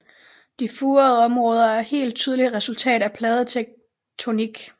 De furede områder er helt tydeligt et resultat af pladetektonik